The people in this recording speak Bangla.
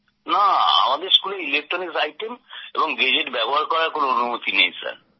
না আমাদের স্কুলে ইলেকট্রনিক্স আইটেম এবং গেজেট ব্যবহার করার অনুমতি নেই